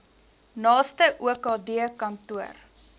naaste okd kantoor